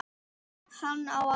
Hann á erfitt.